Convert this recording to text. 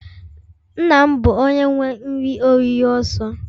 Nna m bu onye nwe nri-oriri oso.